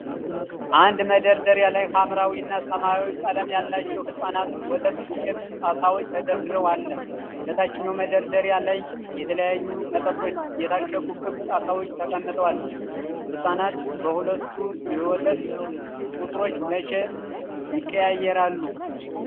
አንድ መደርደሪያ ላይ ሐምራዊ እና ሰማያዊ ቀለም ያላቸው የሕፃናት ወተት ዱቄት ጣሳዎች ተደራርበው አለ። በታችኛው መደርደሪያ ላይ የተለያዩ መጠጦች የታሸጉ ክብ ጣሳዎች ተቀምጠዋል። ሕፃናት በሁለቱ የወተት ቁጥሮች መቼ ይቀያየራሉ?